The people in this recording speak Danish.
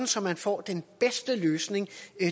så man får den bedste løsning